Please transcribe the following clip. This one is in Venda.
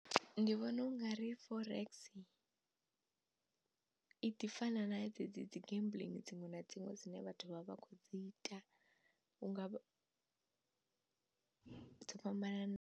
Ndi vhona u nga ri forex i ḓi fana na dzedzi dzi gambling dziṅwe na dziṅwe dzine vhathu vha vha kho dzi ita hunga vha dzo fhambana na.